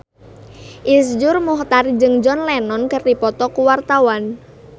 Iszur Muchtar jeung John Lennon keur dipoto ku wartawan